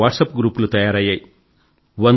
ఎన్నో వాట్సప్ గ్రూపులు తయారయ్యాయి